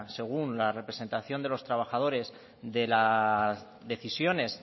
según la representación de los trabajadores de las decisiones